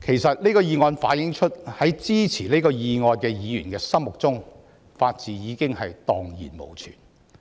這項議案反映出，在支持議案的議員心目中，法治已蕩然無存。